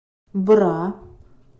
бра